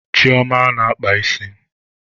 Chioma na-akpa isi.